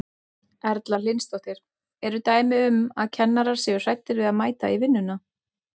Erla Hlynsdóttir: Eru dæmi um að kennarar séu hræddir við að mæta í vinnuna?